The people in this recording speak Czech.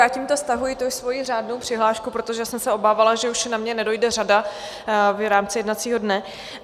Já tímto stahuji to svoji řádnou přihlášku, protože jsem se obávala, že už na mě nedojde řada v rámci jednacího dne.